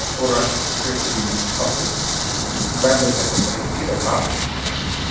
Þóra Kristín Ásgeirsdóttir: Verður þetta drengileg barátta?